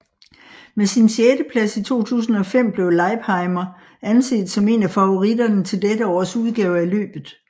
Med sin sjetteplads i 2005 blev Leipheimer anset som en af favoritterne til dette års udgave af løbet